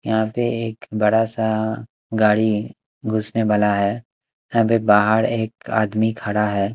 यहां पे एक बड़ा सा गाड़ी घुसने वाला है यहां पे बाहर एक आदमी खड़ा है।